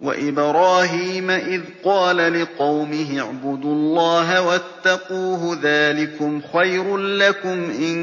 وَإِبْرَاهِيمَ إِذْ قَالَ لِقَوْمِهِ اعْبُدُوا اللَّهَ وَاتَّقُوهُ ۖ ذَٰلِكُمْ خَيْرٌ لَّكُمْ إِن